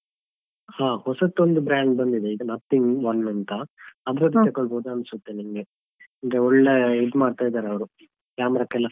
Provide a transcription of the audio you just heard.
ಹಾ ಹೊಸತ್ತೊಂದು brand ಬಂದಿದೆ ಈಗ Nothing one ಅಂತ ತೆಕ್ಕೊಳ್ಬೋದಾ ಅನ್ಸತ್ತೆ ನಿಮ್ಗೆ ಅಂದ್ರೆ ಒಳ್ಳೆ ಇದ್ ಮಾಡ್ತಾ ಇದ್ದಾರೆ ಅವ್ರು camera ಕ್ಕೆಲ್ಲ.